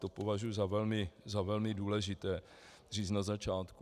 To považuji za velmi důležité říct na začátku.